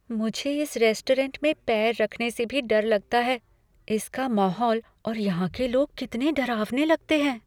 मुझे इस रेस्टोरेंट में पैर रखने से भी डर लगता है। इसका माहौल और यहाँ के लोग कितने डरावने लगते हैं!